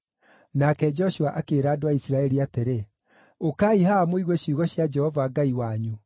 Nake Joshua akĩĩra andũ a Isiraeli atĩrĩ, “Ũkai haha mũigue ciugo cia Jehova Ngai wanyu.